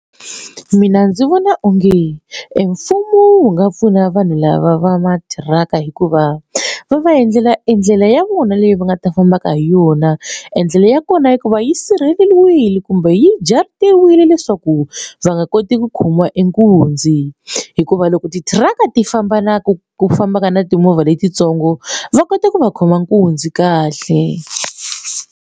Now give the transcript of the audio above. Mina ndzi vona onge e mfumo wu nga pfuna vanhu lava va matiraka hikuva va va endlela endlela ya vona leyi va nga ta fambaka hi yona endlela ya kona hikuva yi sirheleriwile kumbe yi njhani tiwile leswaku va nga koti ku khomiwa nkunzi hikuva loko tithiraka ti famba na ku ku famba ka na timovha letitsongo va kota ku va khoma nkunzi kahle.